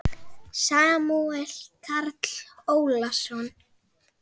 Samúel Karl Ólason.